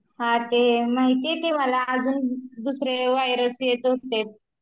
हा ते माहीती मला अजून दुसऱ्या व्हायरस येत होते